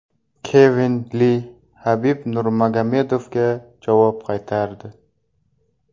Kevin Li Habib Nurmagomedovga javob qaytardi.